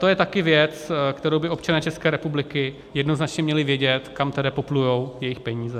To je taky věc, kterou by občané České republiky jednoznačně měli vědět, kam tedy poplují jejich peníze.